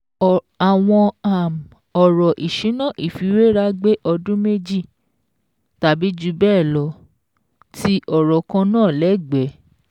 Àwọn um ọ̀rọ̀ ìṣúná ìfiwéra gbé ọdún méjì (tàbí jù bẹ́ẹ̀ lọ) ti ọ̀rọ̀ kan náà lẹ́gbẹ̀ẹ́.